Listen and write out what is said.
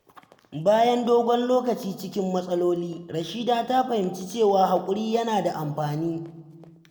Bayan dogon lokaci cikin matsaloli, Rahina ta fahimci cewa hakuri yana da amfani.